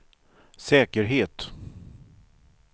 säkerhet